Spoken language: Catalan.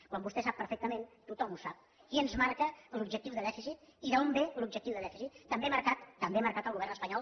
quan vostè sap perfectament tothom ho sap qui ens marca l’objectiu de dèficit i d’on ve l’objectiu de dèficit també marcat també marcat al govern espanyol